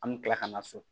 An mi kila ka na so